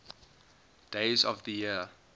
days of the year